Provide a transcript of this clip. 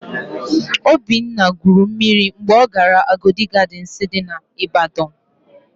Obinna gwuru mmiri mgbe ọ gara Agodi Gadịnsị n'Ịbadọn.